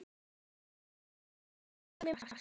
Dúra kenndi mér margt.